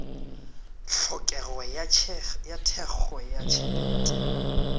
tlhokego ya thekgo ya tšhelete